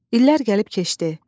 İllər gəlib keçdi.